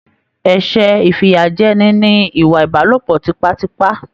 Ẹsẹ ifiyajẹni ní ìwà ìbálòpọ̀ tipatipa.